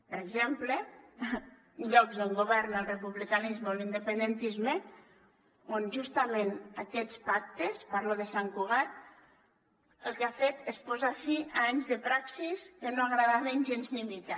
per exemple en llocs on governa el republicanisme o l’independentisme on justament aquests pactes parlo de sant cugat el que han fet és posar fi a anys de praxis que no agradaven gens ni mica